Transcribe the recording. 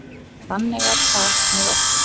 Þannig er það með okkur.